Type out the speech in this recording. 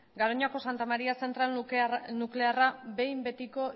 garoñako santa maría zentral nuklearra behin betiko